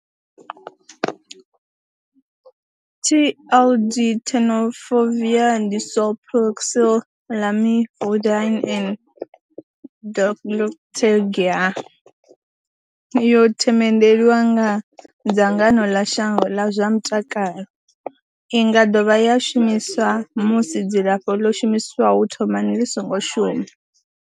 TLD, Tenofovir disoproxil, Lamivudine and dolutegravir, yo themendelwa nga dzangano ḽa shango ḽa zwa mutakalo. I nga dovha ya shumiswa musi dzilafho ḽo shumiswaho u thomani ḽi songo shuma.